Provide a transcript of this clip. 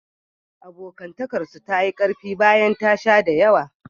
Abokantakarsu ta yi ƙarfi bayan ta sha da yawa.